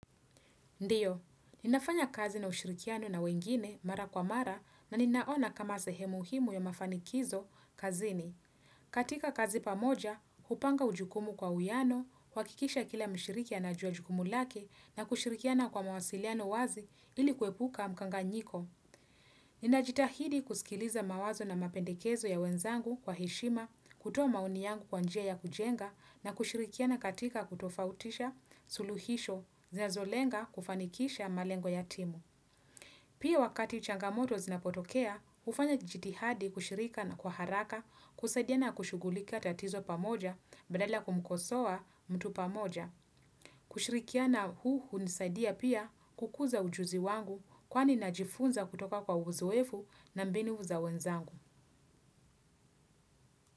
Ndio, ninafanya kazi na ushirikiano na wengine mara kwa mara na ninaona kama sehemuhimu ya mafanikizo kazini. Katika kazi pamoja, hupanga ujukumu kwa uiano, kuhakikisha kila mshiriki ana ujua jukumu lake na kushirikiana kwa mawasiliano wazi ili kuepuka mkanga nyiko. Ni na jitahidi kusikiliza mawazo na mapendekezo ya wenzangu kwa heshima, kutoa maoni yangu kwanjia ya kujenga na kushirikiana katika kutofautisha suluhisho zinazolenga kufanikisha malengo yatimu. Pia wakati changamoto zinapotokea, ufanya jitihadi kushirika na kwa haraka kusaidiana kushugulika tatizo pamoja badala ya kumkosoa mtu pamoja. Kushirikiana huu hunisaidia pia kukuza ujuzi wangu kwani najifunza kutoka kwa uzoefu na mbinu za wenzangu.